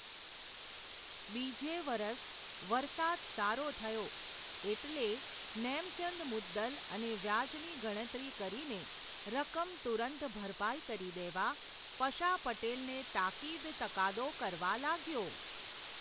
બીજે વરસ, વરસાદ સારો થયો, એટલે નેમચંદ મુદ્દલ અને વ્યાજની ગણતરી કરીને, રકમ તુરંત ભરપાઈ કરી દેવા, પશા પટેલને તાકીદ તકાદો કરવા લાગ્યો.